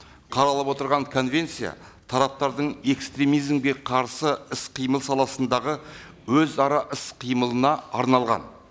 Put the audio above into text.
қаралып отырған конвенция тараптардың экстремизмге қарсы іс қимыл саласындағы өзара іс қимылына арналған